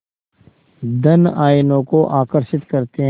धन आयनों को आकर्षित करते हैं